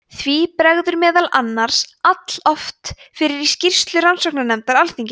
því bregður meðal annars alloft fyrir í skýrslu rannsóknarnefndar alþingis